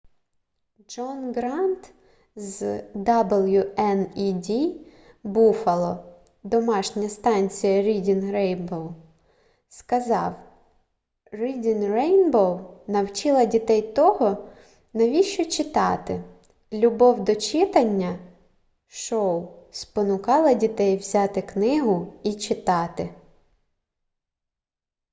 джон грант з wned буффало домашня станція reading rainbow сказав: reading rainbow навчила дітей того навіщо читати,... любов до читання — [шоу] спонукала дітей взяти книгу і читати